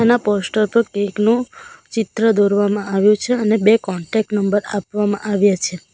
Poster પર cake નું ચિત્ર દોરવામાં આવ્યું છે અને બે કોન્ટેક નંબર આપવામાં આવ્યા છે.